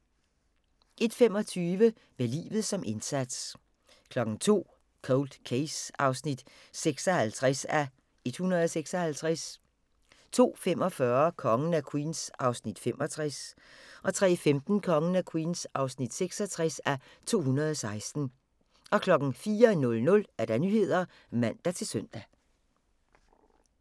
01:25: Med livet som indsats 02:00: Cold Case (56:156) 02:45: Kongen af Queens (65:216) 03:15: Kongen af Queens (66:216) 04:00: Nyhederne (man-søn)